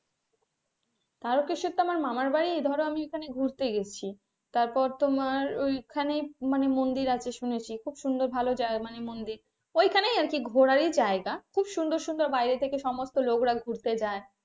তারকেশ্বর তো আমার মামার বাড়ি ধরো আমি ওখানে ঘুরতে গেছি তারপর তোমার ওইখানে মানে মন্দির আছে শুনেছি খুব সুন্দর ভালো মন্দির ওই কাহ্নে আর কি ঘোরার ই জায়গা খুব সুন্দর সুন্দর বাইরে থেকে সমস্ত লোকেরা ঘুরতে যাই.